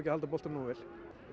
halda boltanum nógu vel